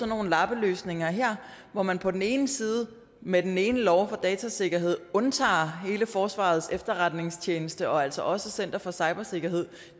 nogle lappeløsninger her hvor man på den ene side med den ene lov om datasikkerhed undtager hele forsvarets efterretningstjeneste og altså også center for cybersikkerhed